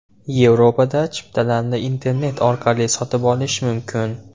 Yevropada chiptalarni internet orqali sotib olish mumkin.